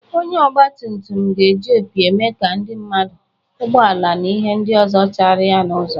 Onye ọgbatumtum ga na-eji opi eme ka ndị mmadụ, ụgbọala na ihe ndị ọzọ chara ya n'ụzo.